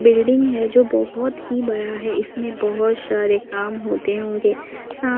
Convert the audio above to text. building है जो बहोत ही बड़ा है इसमें बहुत सारे काम होते होंगे सा--